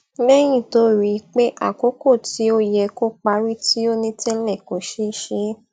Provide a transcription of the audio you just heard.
lẹyìn tó rí i pé àkókò tí ó yẹ kó parí tí o ní tẹlẹ kò ṣé ṣe é